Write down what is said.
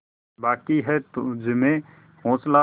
बाक़ी है तुझमें हौसला